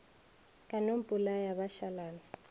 ka no mpolaya ba šalana